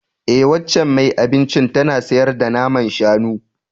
E, waccan mai abincin tana sayar da naman shanu